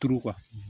Turu